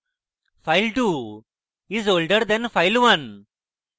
file2 is older than file1